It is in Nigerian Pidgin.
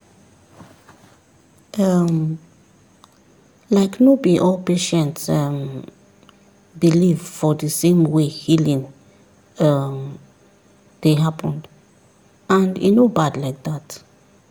um like no be all patients um believe for the same way healing um dey happen and e no bad like that.